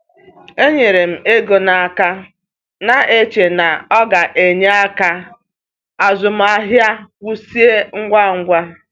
E nyere m ego n’aka, na-eche na ọ ga-enyere ka azụmahịa kwụsị ngwa ngwa.